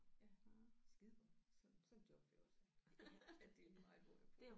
Ja skidegodt sådan sådan et job vil jeg også have. At det er lige meget hvor jeg bor